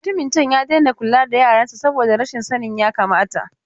Mutumin can ya daina kula da yaran sa saboda rashin sanin yakamata.